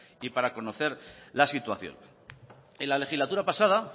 y para conocer la situación en la legislatura pasada